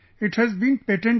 It has been patented